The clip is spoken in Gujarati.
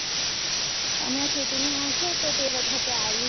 હમણાં ચૂંટણી આવશે તો તે વખતે આવીશ